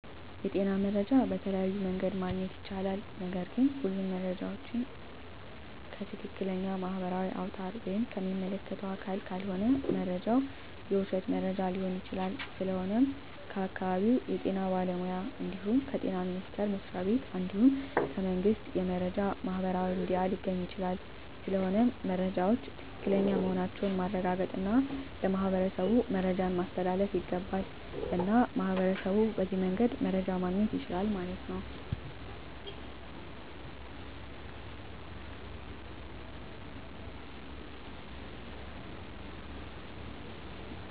የጤና መረጃ በተለያዮ መንገድ ማግኘት ይቻላል ነገርግ ሁሉም መረጃ ዎችን ከትክለኛ ማህበራዊ አውታር ወይም ከሚመለከተው አካል ካልሆነ መረጃው የውሽት መረጃ ሊሆን ይችላል ስለሆነም ከአካባቢው የጤና ባለሙያ እንድሁም ከጤና ሚኒስተር መስሪያ ቤት እንድሁም ከመንግስት የመረጃ ማህበራዊ ሚዲያ ሊገኝ ይቻላል ስለሆነም መረጃወች ትክክለኛ መሆናቸውን ማረጋገጥ እና ለማህበረሠቡ መረጃን ማስተላለፍ ይገባል። እና ሚህበረሸቡ በዚህ መንገድ መረጃ ማገኘት ይችላሉ ማለት ነው